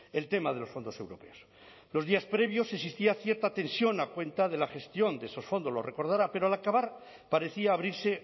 el tema de los fondos europeos los días previos existía cierta tensión a cuenta de la gestión de esos fondos lo recordará pero al acabar parecía abrirse